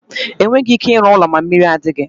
Enweghị ike ịrụ ụlọ ma mmiri adighi.